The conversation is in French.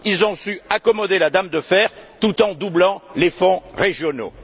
Ils ont su amadouer la Dame de fer tout en doublant les fonds régionaux.